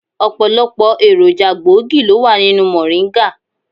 Ọ̀pọ̀lọpọ̀ èròjà gbòógì ló wà nínú mòríńgà.